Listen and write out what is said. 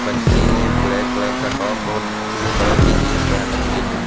बच्ची ने black colour का टॉप और ब्लू कलर की जींस पहन रखी है।